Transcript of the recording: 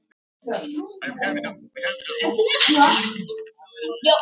Elsku Agga okkar.